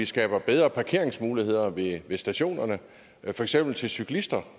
skabe bedre parkeringsmuligheder ved stationerne for eksempel til cyklister